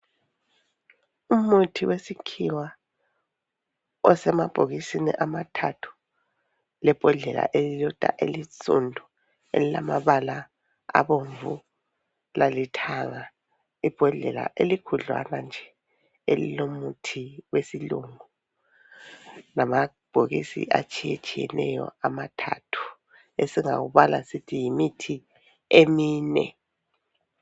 Umuthi wesikhiwa osemabhokisini amathathu lebhodlela elilodwa elisundu elilamabala abomvu lalithanga. Ibhodlela elikhudlwana nje elilomuthi wesilungu lamabhokisi atshiyetshiyeneyo amathathu esingakubala sithi yimithi emine.